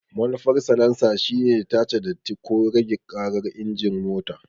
Manufar salansa shine tace datti ko rage ƙarar injin mota.